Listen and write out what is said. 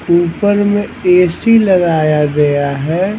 ऊपर में A_ C_ लगाया गया है।